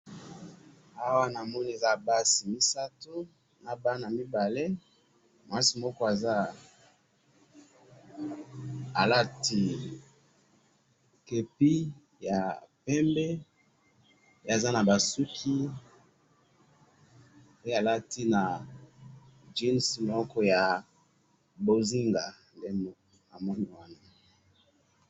awa namoni eza basi misatu nabana mibale mwasi moko aza alati kepi ya pembe pe aza naba suki pe alati jeans ya mbonzinga nde namoni awa